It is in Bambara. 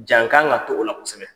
Ja n ka ŋ'a dog'o la kosɛbɛ.